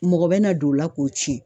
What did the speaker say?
Mɔgɔ bɛna don o la k'o cɛn